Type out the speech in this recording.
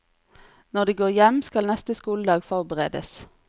Når de går hjem, skal neste skoledag forberedes.